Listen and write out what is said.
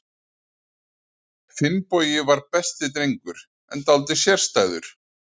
Finnbogi var besti drengur, en dálítið sérstæður.